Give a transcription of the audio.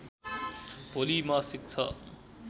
भोलि मासिक छ